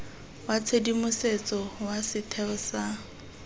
wa tshedimosetso wa setheo sa